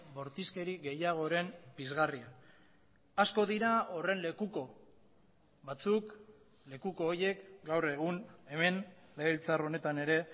bortizkeri gehiagoren pizgarria asko dira horren lekuko batzuk lekuko horiek gaur egun hemen legebiltzar honetan ere